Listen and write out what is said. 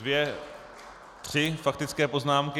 Dvě, tři faktické poznámky.